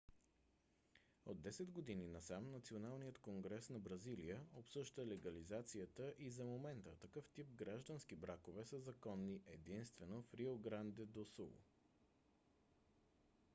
от 10 години насам националният конгрес на бразилия обсъжда легализацията и за момента такъв тип граждански бракове са законни единствено в рио гранде до сул